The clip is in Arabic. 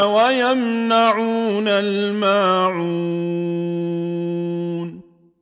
وَيَمْنَعُونَ الْمَاعُونَ